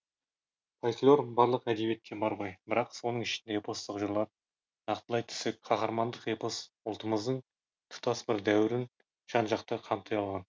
фольклор барлық әдебиетте бар ғой бірақ соның ішінде эпостық жырлар нақтылай түссек қаһармандық эпос ұлттымыздың тұтас бір дәуірін жан жақты қамти алған